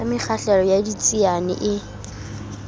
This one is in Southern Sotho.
sa mekgahlelo ya ditsiane e